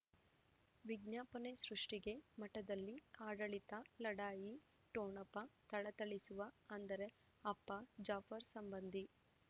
ವಿಜ್ಞಾಪನೆ ಸೃಷ್ಟಿಗೆ ಮಠದಲ್ಲಿ ಆಡಳಿತ ಲಢಾಯಿ ಠೊಣಪ ಥಳಥಳಿಸುವ ಅಂದರೆ ಅಪ್ಪ ಜಾಫರ್ ಸಂಬಂಧಿ